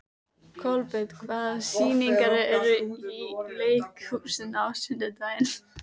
Kolbeinn, hvaða sýningar eru í leikhúsinu á sunnudaginn?